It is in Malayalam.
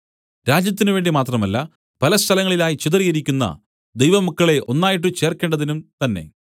രാജ്യത്തിന് വേണ്ടി മാത്രമല്ല പലസ്ഥലങ്ങളിലായി ചിതറിയിരിക്കുന്ന ദൈവമക്കളെ ഒന്നായിട്ട് ചേർക്കേണ്ടതിനും തന്നേ